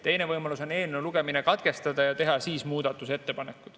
Teine võimalus on eelnõu lugemine katkestada ja teha siis muudatusettepanekud.